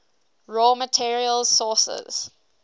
raw materials sources